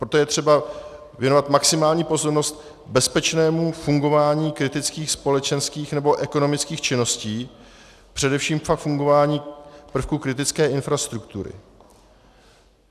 Proto je třeba věnovat maximální pozornost bezpečnému fungování kritických společenských nebo ekonomických činností, především pak fungování prvků kritické infrastruktury.